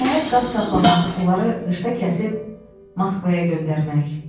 Nəhayət qaz saxlamaq, onları qışda kəsib Moskvaya göndərmək.